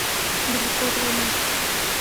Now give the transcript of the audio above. далеко от войны